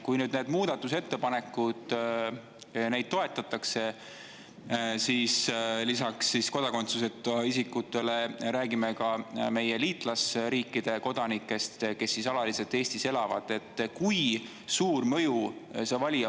Kui nüüd neid muudatusettepanekuid toetatakse, siis me räägime lisaks kodakondsuseta isikutele ka meie liitlasriikide kodanikest, kes alaliselt Eestis elavad.